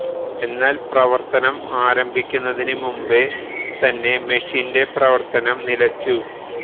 എന്നാല് പ്രവര്ത്തനം ആരംഭിക്കുന്നതിന് മുമ്പേ തന്നെ മെഷിന്റെ പ്രവര്ത്തനം നിലച്ചു